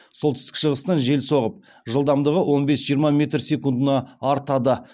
солтүстік шығыстан жел соғып жылдамдығы он бес жиырма метр секундына артады